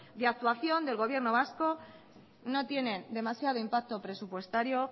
de actuación del gobierno vasco no tienen demasiado impacto presupuestario